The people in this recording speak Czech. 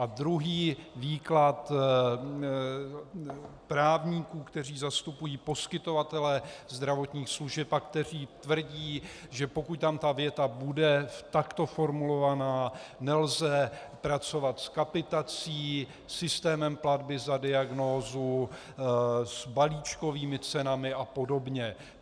A druhý výklad právníků, kteří zastupují poskytovatele zdravotních služeb a kteří tvrdí, že pokud tam ta věta bude takto formulovaná, nelze pracovat s kapitací, systémem platby za diagnózu, s balíčkovými cenami a podobně.